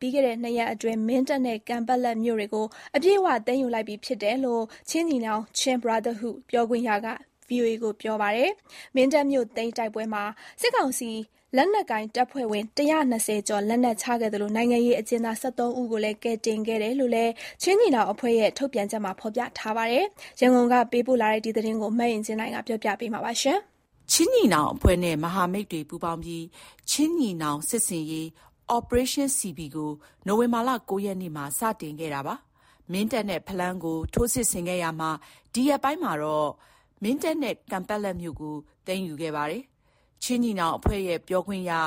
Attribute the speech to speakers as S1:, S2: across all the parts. S1: ပြီးခဲ့တဲ့နှစ်ရက်အတွင်း အပြည့်အဝ သိမ်းယူလိုက်ပြီဖြစ်ကြောင်း ချင်းညီနောင် ပြောခွင့်ရက ဗွီအိုအေကို ပြောပါတယ်။ မင်းတပ်မြို့သိမ်းတိုက်ပွဲမှာ စစ်ကောင်စီ လက်နက်ကိုင်တပ်ဖွဲ့ဝင် ၁၂၀ ကျော် လက်နက် ချခဲ့သလို နိုင်ငံရေးအကျဉ်း သား ၁၃ ဦးကိုလည်း ကယ်တင်ခဲ့တယ်လို့လည်း ချင်းညီနောင်အဖွဲ့ရဲ့ ထုတ်ပြန်ချက်မှာ ဖေါ်ပြထားပါတယ်။ ရန်ကုန်ကနေ သတင်းပေးပို့ထားပါတယ်။ ခ
S2: ျင်းညီနောင်အဖွဲ့နဲ့ မဟာမိတ်တွေ ပူးပေါင်းပြီး ချင်းညီနောင်စစ်ဆင်ရေး Operation CB ကို နိုဝင်ဘာလ ၉ ရက်နေ့မှာ စတင်ခဲ့တာပါ။ ဒီရက်ပိုင်းမှာ မင်းတပ်မြို့နဲ့ဖလမ်းမြို့ကို ထိုးစစ်ဆင်ခဲ့ပြီး သိမ်းယူခဲ့ပါတယ်။ ချင်းညီနောင်အဖွဲ့ရဲ့ ပြောရေးဆိုခွင့်ရှိသူ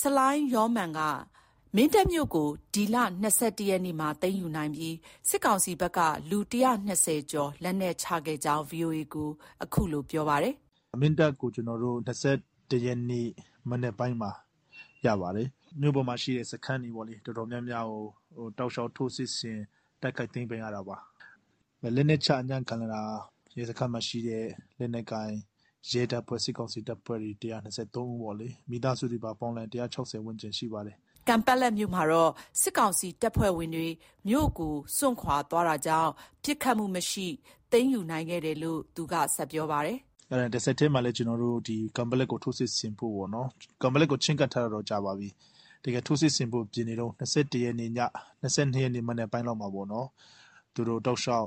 S2: ဆလိုင်းယောမာန်က မင်းတပ်မြို့ကို ဒီလ ၂၁ ရက်နေ့မှာ သိမ်းယူနိုင်ပြီး စစ်ကောင်စီဘက်က လူ ၁၂၀ ကျော် လက်နက်ချခဲ့ကြောင်း VOA ကို အခုလို ပြောပါတယ်
S3: ။ “မင်းတပ်ကို ကျနော်တို့ ၂၁ ရက်နေ့ မနက်ပိုင်းမှာ ရပါတယ်။ မြို့ပေါ်မှာရှိတဲ့စခန်းတွေ အတော် များများကို တောက်လျှောက် ထိုးစစ်ဆင်တိုက်ခိုက် သိမ်းပိုက်ရတာပါ။ လက်နက်ချအညံ့ခံလာတာ ရဲစခန်းမှာရှိတဲ့ လက်နက်ကိုင် ရဲတပ်ဖွဲ့၊ စစ်ကောင်စီတပ်ဖွဲ့ဝင် ၁၂၃ ဦး၊ မိသားစုတွေပါ ပေါင်းလိုက်ရင် ၁၆၀ ဝန်းကျင်ရှိပါတယ်
S2: ။” ကန်ပက်လက်မြို့မှာတော့ စစ်ကောင်စီတပ်ဖွဲ့ဝင်တွေ မြို့ကို စွန့်ခွာသွားတာကြောင့် ပစ်ခတ်မှုမရှိ သိမ်းယူနိုင်ခဲ့တယ်လို့လည်း ဆက်ပြောပါတယ်
S3: ။ “တဆက်တည်းမှာပဲ ဒီ ကန်ပက်လက်ကို ထိုးစစ်ဆင်ဖို့ ပေါ့နော်။ ကန်ပက်လက်ကိုတော့ ချဉ်းကပ်ထား တာ ကြာပါပြီ။ တကယ် ထိုးစစ်ဆင်ဖို့ ပြင်နေတုံး ၂၁ ရက်ည၊ ၂၂ ရက်နေ့ မနက်ပိုင်းလောက်မှာပေါ့နော်။ သူတို့ တောက်လျှောက်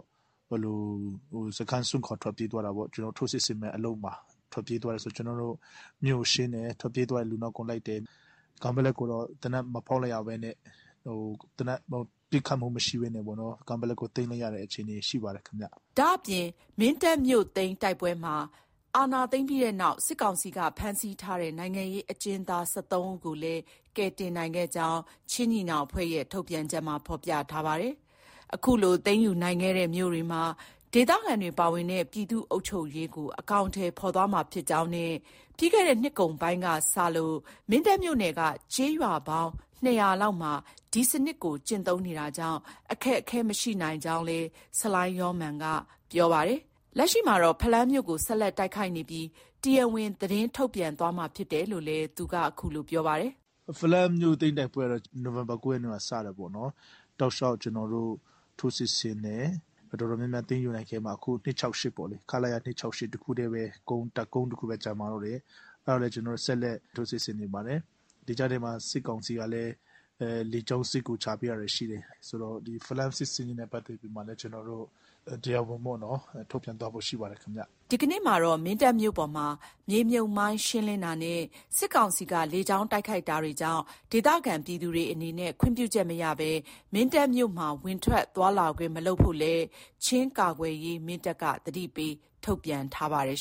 S3: စခန်း စွန့်ခွာ ထွက်ပြေးသွားတာပေါ့။ ကျနော်တို့ ထိုးစစ်ဆင်မယ်အလုပ်မှာ ထွက်ပြေးသွားတယ်ဆိုတော့ ကျနော်တို့ မြို့ကို ရှင်းတယ်။ ထွက်ပြေးသွားတဲ့လူနောက်ကို လိုက်တယ်။ ကန်ပက်လက်ကိုတော့ သေနတ် မဖောက်လိုက်ရဘဲနဲ့၊ သေနတ် ပစ်ခတ်မှုမရှိဘဲနဲ့ ကန်ပက်လက်ကို သိမ်းလိုက်ရတဲ့ အခြေအနေ ရှိပါတယ်။”
S2: ဒါ့ပြင် မင်းတပ်မြို့သိမ်းတိုက်ပွဲမှာ အာဏာသိမ်းပြီးနောက် စစ်ကောင်စီက ဖမ်းဆီးထားတဲ့ နိုင်ငံရေးအကျဉ်းသား ၁၃ ဦးကိုလည်း ကယ်တင်နိုင်ခဲ့ကြောင်း ချင်းညီနောင်အဖွဲ့က ထုတ်ပြန်ထားပါတယ်။ အခုလို သိမ်းယူနိုင်ခဲ့တဲ့ မြို့တွေမှာ ဒေသခံတွေပါဝင်တဲ့ ပြည်သူ့အုပ်ချုပ်ရေးကို အကောင်အထည် ဖော်သွားမှာဖြစ်ကြောင်းနဲ့ ပြီးခဲ့တဲ့နှစ်ကုန်ပိုင်းက စတင်ပြီး မင်းတပ်မြို့နယ်က ကျေးရွာ လောက်မှာ ဒီစနစ်ကို ကျင့်သုံးနေတာကြောင့် အခက်အခဲမရှိနိုင်ကြောင်းလည်း ဆလိုင်းယောမာန်က ပြောပါတယ်။ လက်ရှိမှာတော့ ဖလမ်းမြို့ကို ဆက်လက် တိုက်ခိုက်နေကြောင်းနဲ့ တရားဝင် သတင်းထုတ်ပြန် သွားမှာဖြစ်ကြောင်းလည်း အခုလို ပြောပါတယ်
S3: ။ “ဖလမ်းမြို့သိမ်းတိုက်ပွဲကတော့ နိုဝင်ဘာ ၉ ရက်နေ့မှာ စတာပေါ့နော်။တောက်လျှောက် ကျနော်တို့ ထိုးစစ်ဆင်တယ်။ တော်တော်များများ သိမ်းယူနိုင်ခဲ့ရာမှာ အခု ၂၆၈ ပေါ့။ ခလရ ၂၆၈ တခုတည်းပဲ တပ်ကုန်းတခုတည်းပဲ ကျန်ပါတော့တယ်။ အဲဒါကိုလည်း ကျနော်တို့ ဆက်လက် ထိုးစစ်ဆင်နေ ပါတယ်။ ဒီကြားထဲမှာ စစ်ကောင်စီကလည်း လေကြောင်းစစ်ကူ ချပေးတာတွေ ရှိတယ်။ ဖလမ်း စစ်ဆင်ရေးနဲ့ ပတ်သက်ပြီးမှလည်း ကျနော်တို့ တရားဝင် ထုတ်ပြန်သွားဖို့ ရှိပါတယ်။ ”
S2: ဒီကနေ့မှာတော့ မင်းတပ်မြို့ပေါ်မှာ မြေမြှုပ်မိုင်းရှင်းလင်းနေပြီး စစ်ကောင်စီကလည်း လေကြောင်းတိုက်ခိုက်တာတွေကြောင့် ဒေသခံပြည်သူတွေအနေနဲ့ ခွင့်ပြုချက်မရဘဲ မင်းတပ်မြို့မှာ ဝင်ထွက်သွားလာခွင့်မလုပ်ဖို့လည်း ချင်းကာကွယ်ရေး သတိပေးထုတ်ပြန်ထားပါတယ်